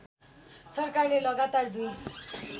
सरकारले लगातार दुई